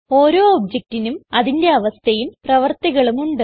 ഓരോ objectനും അതിന്റെ അവസ്ഥയും പ്രവർത്തികളും ഉണ്ട്